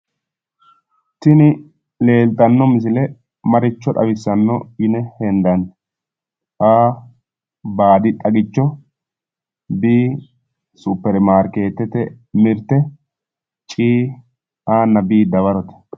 Tini leeltanno misile maricho xawissanno yine hendanni? A.baadi xagicho B.supermarkeetete mirte C. A nna B dawarote.